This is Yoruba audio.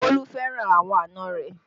Bolu fẹ́ràn àwọn àna rẹ